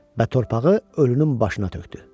Və torpağı ölünün başına tökdü.